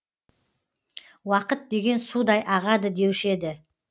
уақыт деген судай ағады деуші еді